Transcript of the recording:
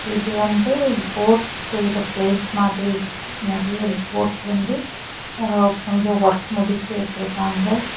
இது வந்து போட் செய்ற பிளேஸ் மாதிரி இருக்கு நெறைய போட் வந்து கொஞ்சம் ஒர்க் முடிச்சு வெச்சிருக்காங்க.